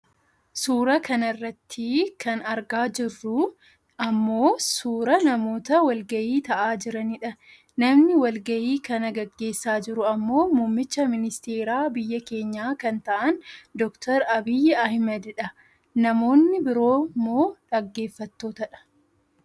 Suuraa kanarratti kan argaa jirruu ammoo suuraa namoota walgahii taa'aa jiranidha. Namni wal gahii kana gaggeessaa jiru ammoo muummicha ministeeraa biyya keenyaa kan ta'an Dr Abiyyi Ahmedii dha. Namoonni biroo. moo dhaggeeffattootadha